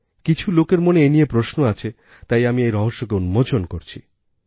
কিছু লোকের মনে এ নিয়ে প্রশ্ন আছে তাই আমি এই রহস্যকে উন্মোচন করছি